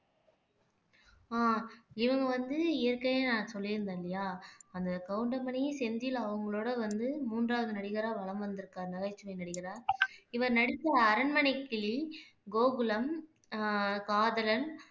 ஆஹ் இவங்க வந்து ஏற்கனவே நான் சொல்லியிருந்தேன் இல்லையா அந்த கவுண்டமணியும் செந்தில் அவங்களோட வந்து மூன்றாவது நடிகரா வலம் வந்துருக்காரு நகைச்சுவை நடிகரா இவர் நடிச்ச அரண்மனைக்கிளி கோகுலம் அஹ் காதலன்